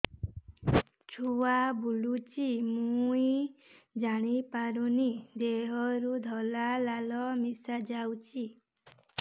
ଛୁଆ ବୁଲୁଚି ମୁଇ ଜାଣିପାରୁନି ଦେହରୁ ସାଧା ଲାଳ ମିଶା ଯାଉଚି